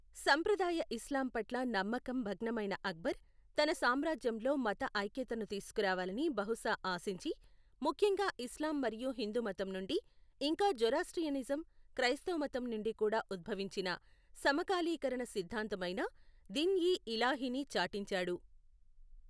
సంప్రదాయ ఇస్లాంపట్ల నమ్మకం భగ్నమైన అక్బర్ తన సామ్రాజ్యంలో మత ఐక్యతను తీసుకురావాలని బహుశా ఆశించి, ముఖ్యంగా ఇస్లాం మరియు హిందూమతంనుండి, ఇంకా జొరాస్ట్రియనిజం, క్రైస్తవమతం నుండి కూడా ఉద్భవించిన సమకాలీకరణ సిద్ధాంతమైన దిన్ ఇ ఇలాహీని చాటించాడు.